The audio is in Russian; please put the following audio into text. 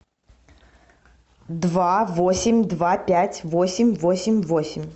два восемь два пять восемь восемь восемь